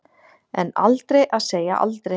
En aldrei að segja aldrei.